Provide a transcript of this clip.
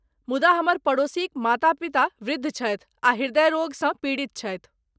मुदा हमर पड़ोसीक माता पिता वृद्ध छथि आ हृदयरोगसँ पीड़ित छथि।